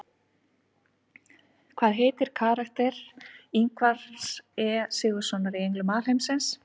Hvað heitir karakter Ingvars E Sigurðssonar í Englum alheimsins?